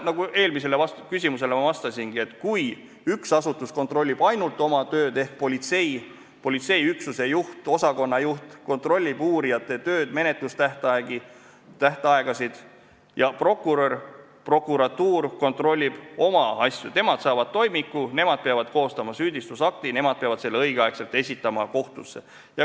Nagu ma eelmisele küsimusele vastasin, üks asutus peaks kontrollima ainult oma tööd: politseiüksuse, osakonna juht kontrollib uurijate tööd ja menetlustähtaegasid ning prokurör või prokuratuur kontrollib oma asju, nemad saavad toimiku, nemad peavad koostama süüdistusakti, nemad peavad selle õigel ajal kohtusse esitama.